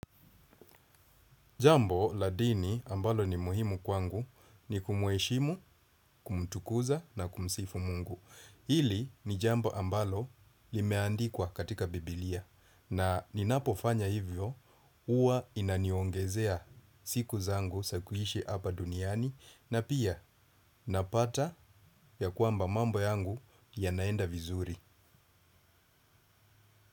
Jambo la dini ambalo ni muhimu kwangu ni kumueshimu, kumtukuza na kumsifu mungu. Hili ni jambo ambalo limeandikwa katika biblia. Na ninapofanya hivyo huwa inaniongezea siku zangu za kuishi apa duniani na pia napata ya kwamba mambo yangu yanaenda vizuri.